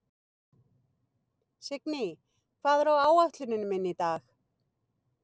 Signý, hvað er á áætluninni minni í dag?